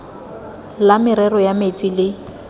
la merero ya metsi le